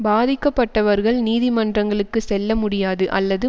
பாதிக்கப்பட்டவர்கள் நீதிமன்றங்களுக்கு செல்ல முடியாது அல்லது